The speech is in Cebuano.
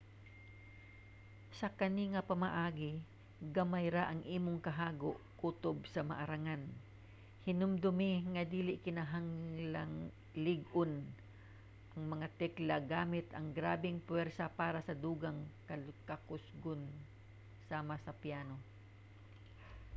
sa kani nga pamaagi gamay ra ang imong kahago kutob sa maarangan. hinumdumi nga dili kinahanglanng ig-on ang mga tekla gamit ang grabeng puwersa para sa dugang kakusgon sama sa piano